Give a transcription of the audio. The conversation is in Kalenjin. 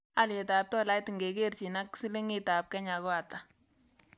Alyetap tolait ngekerchin ak silingiitap kenya ko ata